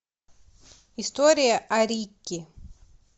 история о рикки